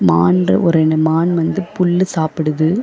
மான்ற ஒரு ரெண்டு மான் வந்து புல்லு சாப்புடுது.